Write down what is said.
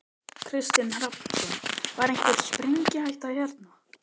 Kristinn Hrafnsson: Var einhver sprengihætta hérna?